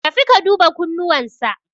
Tafi ka duba kunnuwan sa.